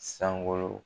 Sankolo